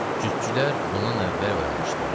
Cütçülər bundan əvvəl oyanmışdılar.